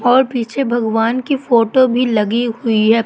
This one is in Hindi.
और पीछे भगवान की फोटो भी लगी हुई है।